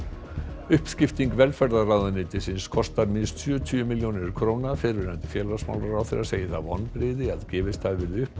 uppskipting velferðarráðuneytisins kostar minnst sjötíu milljónir króna fyrrverandi félagsmálaráðherra segir það vonbrigði að gefist hafi verið upp á